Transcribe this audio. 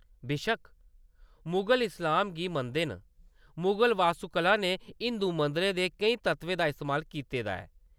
बेशक्क मुगल इस्लाम गी मनदे न, मुगल वास्तुकला ने हिंदू मंदरें दे केईं तत्वें दा इस्तेमाल कीते दा ऐ।